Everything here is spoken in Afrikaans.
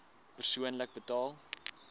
persoonlik betaal